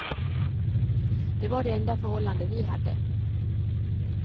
Det var det enda förhållande vi hade.